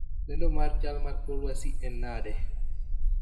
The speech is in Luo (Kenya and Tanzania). Lendo mar chal mar kor lwasi en nade